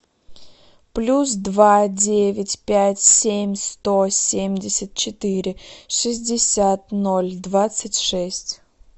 плюс два девять пять семь сто семьдесят четыре шестьдесят ноль двадцать шесть